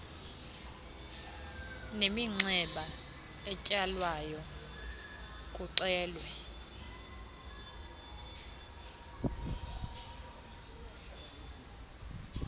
neminxeba etsalwayo kuxelwe